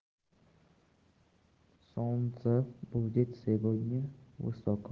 солнце будет сегодня